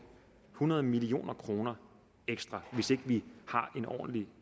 hundrede million kroner ekstra hvis ikke vi har en ordentlig